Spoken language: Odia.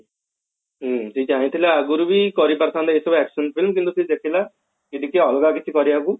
ହଁ ସେ ଚାହିଁ ଥିଲେ ଆଗରୁ ବି କରିପାରି ଥାନ୍ତା action films କିନ୍ତୁ ସେ ଦେଖିଲା କି କିଛି ଅଲଗା କିଛି କରିବାକୁ